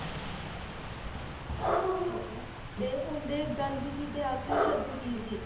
ਠੀਕ ਏ ਤੇ ਉਨ੍ਹਾਂ ਦੇ ਗਾਂਧੀ ਜੀ ਦੇ ਆਖਰੀ ਸ਼ਬਦ ਕੀ ਸੀ?